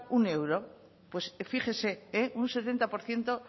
un euro pues fíjese un setenta por ciento